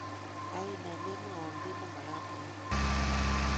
Kaine memwowo kiit nemagat ayai?